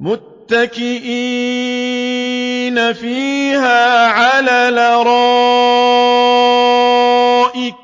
مُّتَّكِئِينَ فِيهَا عَلَى الْأَرَائِكِ ۖ